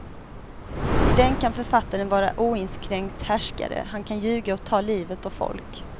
I den kan författaren vara oinskränkt härskare, han kan ljuga och ta livet av folk.